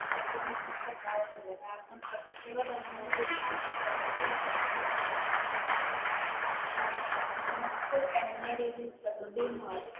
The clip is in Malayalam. ശല്യം നമുക്കുണ്ടാവുന്നില്ല കാരണം പ്രകൃതിയോട് ഇണങ്ങി ജീവിക്കുമ്പോൾ പ്രകൃതി നമുക്ക് നമ്മനമുക്ക് ഇണങ്ങിയ രീതിയിൽ പ്രകൃതിയും മാറും.